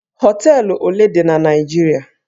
Hóteélụ̀ ole dị na Naịjirịa?